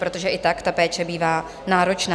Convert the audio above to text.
Protože i tak ta péče bývá náročná.